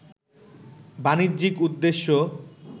বাণিজ্যিক উদ্দেশ্যে